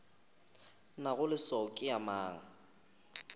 nago leswao ke ya mang